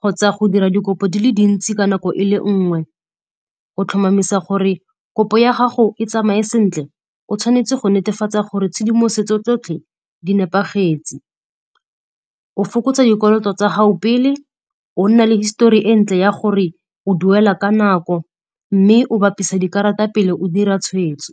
kgotsa go dira dikopo di le dintsi ka nako e le nngwe. Go tlhomamisa gore kopo ya gago e tsamaye sentle, o tshwanetse go netefatsa gore tshedimosetso tsotlhe di nepagetse. O fokotsa dikoloto tsa gago pele, o nna le histori e ntle ya gore o duela ka nako mme o bapise dikarata pele o dira tshwetso.